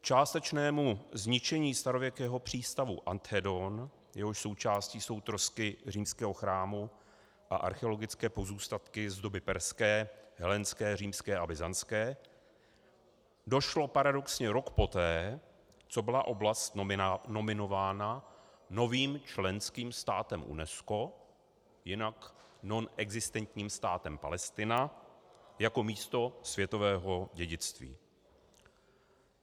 K částečnému zničení starověkého přístavu Anthedon, jehož součástí jsou trosky římského chrámu a archeologické pozůstatky z doby perské, helénské, římské a byzantské, došlo paradoxně rok poté, co byla oblast nominována novým členským státem UNESCO, jinak nonexistentním státem Palestina, jako místo světového dědictví.